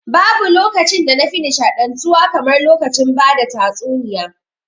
Babu lokacin da na fi nshaɗantuwa kamar lokacin ba da tasuniya